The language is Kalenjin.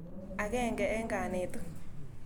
Akenge eng' kanetik.